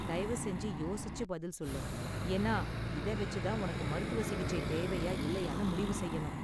தயவு செஞ்சு யோசிச்சு பதில் சொல்லு, ஏன்னா இத வெச்சு தான் உனக்கு மருத்துவ சிகிச்சை தேவையா இல்லயானு முடிவு செய்யணும்.